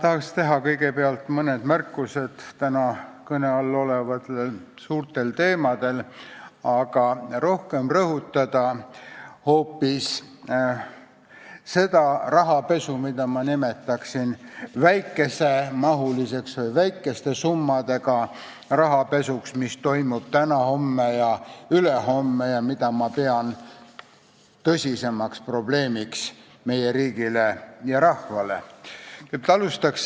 Ma tahan kõigepealt teha mõne märkuse täna kõne all olevate suurte teemade kohta, aga rohkem tahan rõhutada hoopis seda, et rahapesu, mida ma nimetaksin väikesemahuliseks või väikeste summadega rahapesuks, mis toimub täna, homme ja ülehomme, pean ma meie riigile ja rahvale tõsisemaks probleemiks.